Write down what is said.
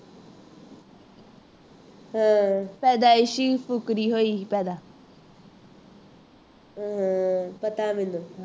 ਹਾਂ ਸਦਾ ਫੁਕਰੀ ਹੋਈ ਪੈਦਾ ਹਾਂ ਪਤਾ ਮੈਨੂੰ